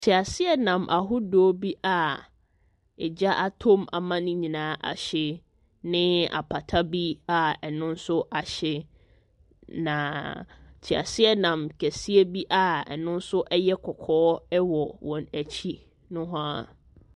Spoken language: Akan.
Teaseanam ahodoɔ bi a ɛgya atɔ mu ana ne nyinaa ahye ne apata bi a ɛno nso ahye. Naaaaa teaseanam kɛseɛ bi a ɛno nso yɛ kɔkɔɔ wɔ wɔn akyi nohoa.